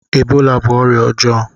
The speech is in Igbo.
Ebola bú ọrịa ọjọọ